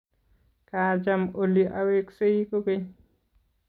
Kachaam oli aweksei kogeny